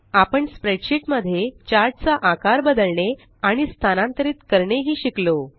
आपण स्प्रेडशीट मध्ये चार्ट चा आकार बदलणे आणि स्थानांतरित करणे ही शिकलो